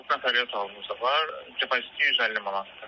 Beş-altı nəfərlik otağımızın depoziti 150 manatdır.